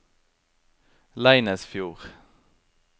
Leinesfjord